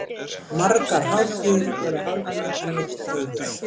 Margar hátíðir voru haldnar henni til heiðurs.